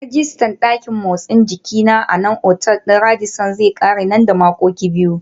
Rijistar dakin motsa jiki na a otal ɗin Radisson zai ƙare nan da makonni biyu.